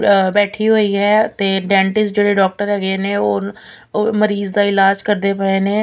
ਬੈਠੀ ਹੋਈ ਹੈ ਤੇ ਡੈਂਟਿਸਟ ਜਿਹੜੇ ਡਾਕਟਰ ਹੈਗੇ ਨੇ ਉਹ ਮਰੀਜ਼ ਦਾ ਇਲਾਜ ਕਰਦੇ ਪਏ ਨੇ।